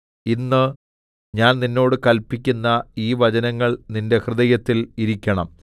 ഇന്ന് ഞാൻ നിന്നോട് കല്പിക്കുന്ന ഈ വചനങ്ങൾ നിന്റെ ഹൃദയത്തിൽ ഇരിക്കണം